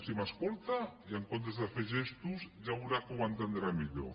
si m’escolta en comptes de fer gestos ja veurà que ho entendrà millor